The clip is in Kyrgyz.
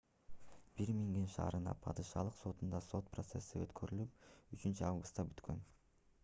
бирмингем шаарынын падышалык сотунда сот процесси өткөрүлүп 3-августта бүткөн